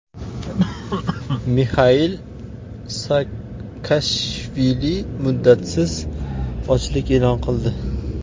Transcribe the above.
Mixail Saakashvili muddatsiz ochlik e’lon qildi.